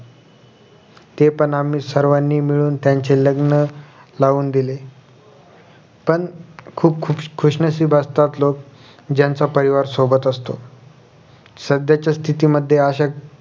ते पण आम्ही सर्वानी मिळून त्यांची लग्न लावून दिली पण खुप खुशनशिब असतात लोक ज्यांचा परिवार सोबत असतो सध्याच्या स्थितीमध्ये अश्या